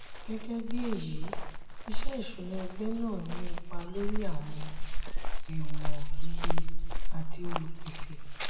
gẹ́gẹ́ bí èyí iṣẹ́ ìṣúná ẹgbẹ́ náà ní ipa lórí àwọn ẹ̀wọ̀n iye àti olùpèsè.